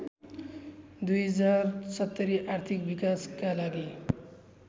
२०७० आर्थिक विकासका लागि